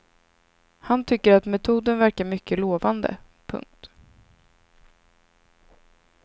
Han tycker att metoden verkar mycket lovande. punkt